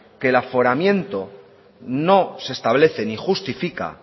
que el aforamiento no se establece ni justifica